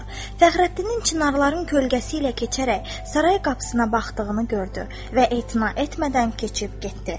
Fəxrəddinin çinarların kölgəsi ilə keçərək saray qapısına baxdığını gördü və etina etmədən keçib getdi.